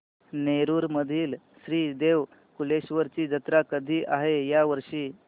नेरुर मधील श्री देव कलेश्वर ची जत्रा कधी आहे या वर्षी